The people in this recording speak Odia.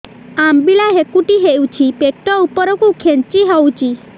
ଅମ୍ବିଳା ହେକୁଟୀ ହେଉଛି ପେଟ ଉପରକୁ ଖେଞ୍ଚି ହଉଚି